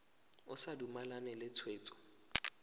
o sa dumalane le tshwetso